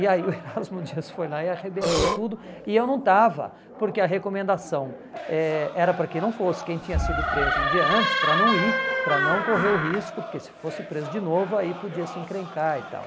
E aí o Erasmo Dias foi lá e arrebentou tudo, e eu não estava, porque a recomendação eh era para que não fosse quem tinha sido preso um dia antes, para não ir, para não correr o risco, porque se fosse preso de novo, aí podia se encrencar e tal.